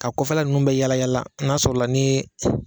Ka kɔfɛla ninnu bɛɛ yaala n'a sɔrɔla ni ye